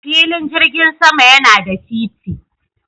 Filin jirgin sama yana da titi.